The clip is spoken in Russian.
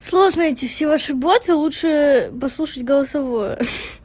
сложно эти все ваши бойцы лучше послушать голосовое